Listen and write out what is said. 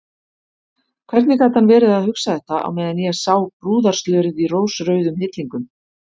Hvernig gat hann verið að hugsa þetta á meðan ég sá brúðarslörið í rósrauðum hillingum!